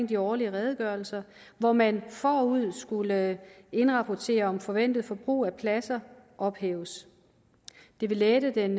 de årlige redegørelser hvor man forud skulle indrapportere om forventet forbrug af pladser ophæves det vil lette den